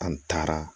An taara